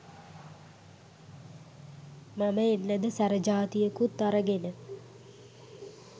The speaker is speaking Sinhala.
මම එන්නද සැර ජාතියකුත් අරගෙන